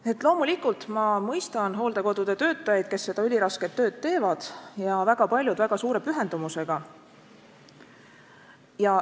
Samas ma loomulikult mõistan hooldekodude töötajaid, kes seda ülirasket tööd teevad, ja väga paljud väga suure pühendumusega.